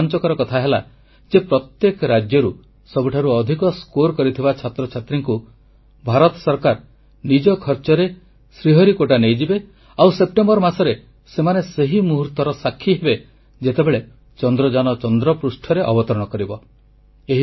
ସବୁଠାରୁ ରୋମାଂଚକର କଥା ହେଲା ଯେ ପ୍ରତ୍ୟେକ ରାଜ୍ୟରେ ସବୁଠାରୁ ଅଧିକ ନମ୍ବର ରଖିଥିବା ଛାତ୍ରଛାତ୍ରୀଙ୍କୁ ଭାରତ ସରକାର ନିଜ ଖର୍ଚ୍ଚରେ ଶ୍ରୀହରିକୋଟା ନେଇଯିବେ ଆଉ ସେପ୍ଟେମ୍ବର ମାସରେ ସେମାନେ ସେହି ମୁହୂର୍ତର ସାକ୍ଷୀ ହେବେ ଯେତେବେଳେ ଚନ୍ଦ୍ରଯାନ ଚନ୍ଦ୍ରପୃଷ୍ଠରେ ଅବତରଣ କରିବ